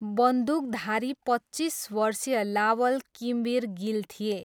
बन्दुकधारी पच्चिस वर्षीय लावल किमवीर गिल थिए।